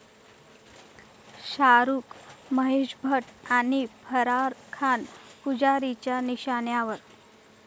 शाहरूख, महेश भट आणि फराह खान पुजारीच्या निशाण्यावर?